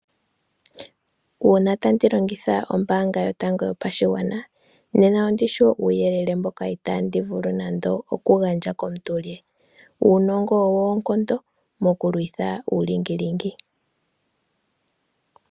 Una tandi longitha ombaanga yotango yopashigwana, nena ondishi wo uuyelele mboka itandi vulu nande oku gandja komuntu le. Uunongo owo oonkondo mokulwitha uulingilingi.